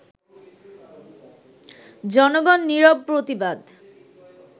জনগণ নিরব প্রতিবাদ